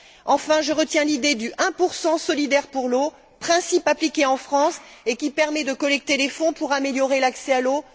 Enfin, je retiens l'idée du 1 solidaire pour l'eau, principe appliqué en France et qui permet de collecter des fonds pour améliorer l'accès à l'eau.